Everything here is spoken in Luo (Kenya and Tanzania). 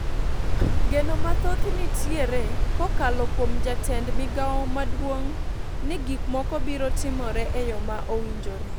Geno mathoth nitiere kokalo kuom jatend migao maduong' ni gik moko biro timore e yo ma owinjore.